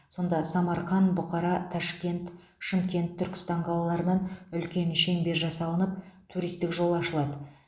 сонда самарқан бұқара ташкент шымкент түркістан қалаларынан үлкен шеңбер жасалынып туристік жол ашылады